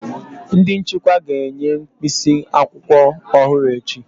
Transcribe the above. Ndị nchịkwa ga-enye mkpịsị akwụkwọ ọhụrụ echi